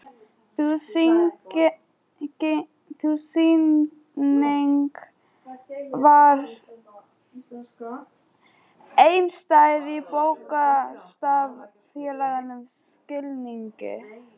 Sú sýning var einstæð í bókstaflegum skilningi.